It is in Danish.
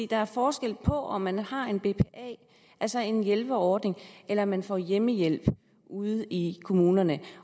der er forskel på om man har en bpa altså en hjælperordning eller om man får hjemmehjælp ude i kommunerne